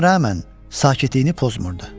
Buna rəğmən, sakitliyini pozmurdu.